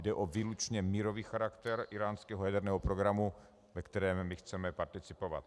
Jde o výlučně mírový charakter íránského jaderného programu, ve kterém my chceme participovat.